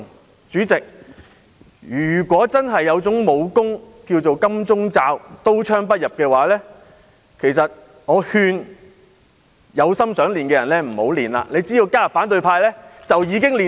代理主席，如果真的有種名為"金鐘罩"、可以刀槍不入的武功，我奉勸有意修練的人不要練功，只要加入反對派便可以一天練成。